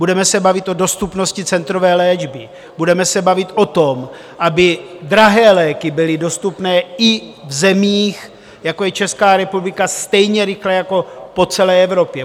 Budeme se bavit o dostupnosti centrové léčby, budeme se bavit o tom, aby drahé léky byly dostupné i v zemích, jako je Česká republika, stejně rychle jako po celé Evropě.